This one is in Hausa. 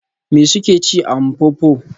Me suke ci a Mpopo?